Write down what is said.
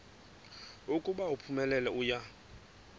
ukuba uphumelele uya